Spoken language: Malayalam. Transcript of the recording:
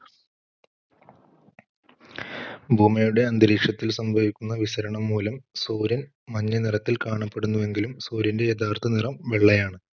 ഭൂമിയുടെ അന്തരീക്ഷത്തിൽ സംഭവിക്കുന്ന വിസരണം മൂലം സൂര്യൻ മഞ്ഞനിറത്തിൽ കാണുന്നുവെങ്കിലും സൂര്യൻറെ യഥാർത്ഥ നിറം വെള്ളയാണ്.